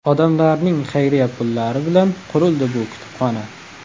Odamlarning xayriya pullari bilan qurildi bu kutubxona.